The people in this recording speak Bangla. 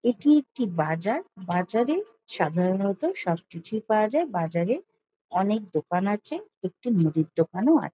এটি একটি বাজার। বাজারে সাধারণত সব কিছুই পাওয়া যায়। বাজারে অনেক দোকান আছে। একটি মুদির দোকানও আ--